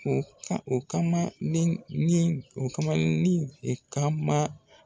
O o kama ni ni o kamalennin o kama